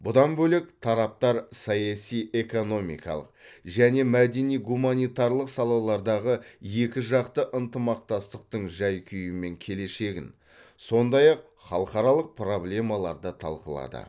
бұдан бөлек тараптар саяси экономикалық және мәдени гуманитарлық салалардағы екіжақты ынтымақтастықтың жай күйі мен келешегін сондай ақ халықаралық проблемаларды талқылады